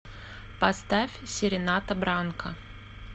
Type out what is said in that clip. поставь серената бранка